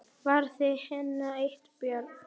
Verður henni eitthvað bjargað?